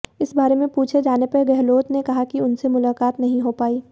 इस बारे में पूछे जाने पर गहलोत ने कहा कि उनसे मुलाकात नहीं हो पाई